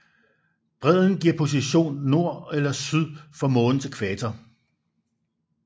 Bredden giver positionen nord eller syd for månens ækvator